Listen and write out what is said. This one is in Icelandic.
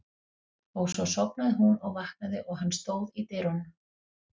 Og svo sofnaði hún og vaknaði og hann stóð í dyrunum.